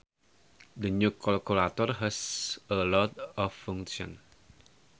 The new calculator has a lot of functions